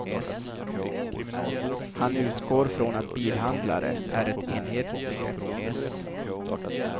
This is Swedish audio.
Han utgår från att bilhandlare är ett enhetligt begrepp.